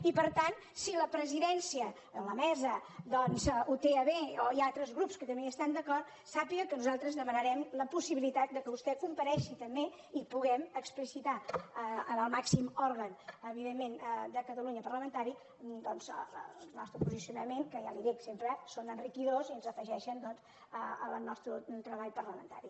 i per tant si la presidència o la mesa doncs ho té a bé o hi ha altres grups que també hi estan d’acord sàpiga que nosaltres demanarem la possibilitat que vostè comparegui també i puguem explicitar en el màxim òrgan evidentment de catalunya parlamentari el nostre posicionament que ja li ho dic sempre són enriquidors i s’afegeixen al nostre treball parlamentari